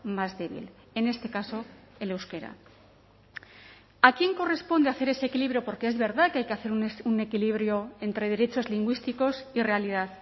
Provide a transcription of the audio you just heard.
más débil en este caso el euskera a quién corresponde hacer ese equilibrio porque es verdad que hay que hacer un equilibrio entre derechos lingüísticos y realidad